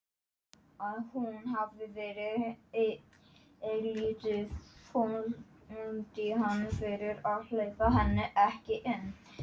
Ýtti við henni og leit inn í bakherbergið.